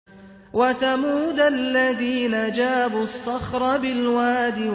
وَثَمُودَ الَّذِينَ جَابُوا الصَّخْرَ بِالْوَادِ